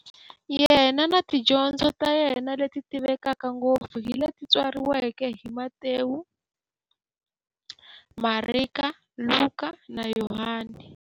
Yena na tidyondzo ta yena, leti tivekaka ngopfu hi leti tsariweke hi-Matewu, Mareka, Luka, na Yohani.